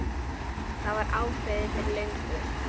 Það var ákveðið fyrir löngu.